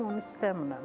Mən onu istəmirəm.